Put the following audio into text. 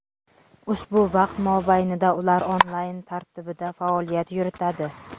Ushbu vaqt mobaynida ular onlayn tartibida faoliyat yuritadi.